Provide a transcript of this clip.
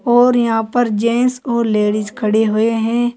और यहां पर जेंट्स और लेडीज खड़े हुए हैं।